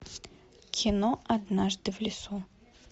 кино однажды в лесу